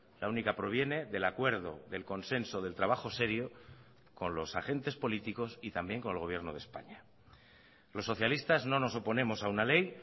la única proviene del acuerdo del consenso del trabajo serio con los agentes políticos y también con el gobierno de españa los socialistas no nos oponemos a una ley